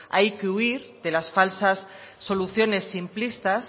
hay que huir de las falsas soluciones simplistas